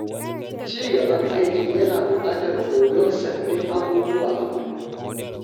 Ci gaban aiki yana buƙatar koyon sabbin abubuwa a kullum.